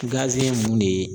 ye mun de ye